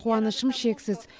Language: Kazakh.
қуанышым шексіз